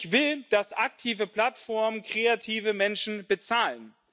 Ich will, dass aktive Plattformen kreative Menschen bezahlen.